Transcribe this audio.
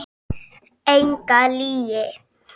Enga lygi.